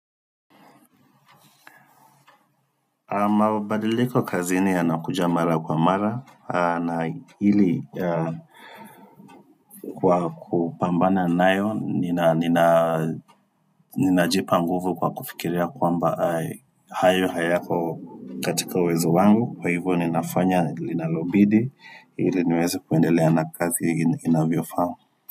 Mabadiliko kazini yanakuja mara kwa mara, na hili kwa kupambana nayo, ninajipa nguvu kwa kufikiria kwamba hayo hayako katika uwezo wangu, kwa hivyo ninafanya, ninalobidi, hili niweze kuendelea na kazi inavyofaa.